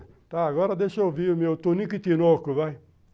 Tá, agora deixa eu ver o meu Tunico e Tinoco, vai.